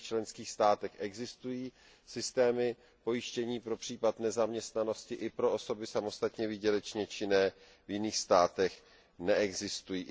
V některých členských státech existují systémy pojištění pro případ nezaměstnanosti i pro osoby samostatně výdělečně činné, v jiných státech neexistují.